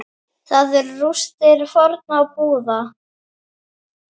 Þar eru rústir fornra búða.